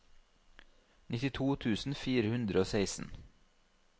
nittito tusen fire hundre og seksten